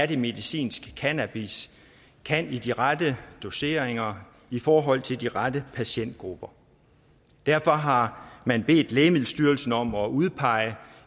det er medicinsk cannabis kan i de rette doseringer i forhold til de rette patientgrupper derfor har man bedt lægemiddelstyrelsen om at udpege